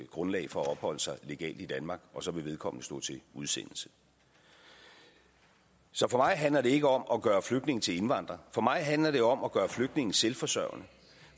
grundlag for at opholde sig legalt i danmark og så vil vedkommende stå til udsendelse så for mig handler det ikke om at gøre flygtninge til indvandrere for mig handler det om at gøre flygtninge selvforsørgende